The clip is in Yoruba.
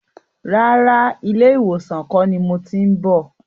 Rárá, ilé ìwòsàn kọ́ ni mo ti ń bọ̀.